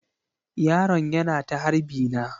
Yaron yana ta harbi na.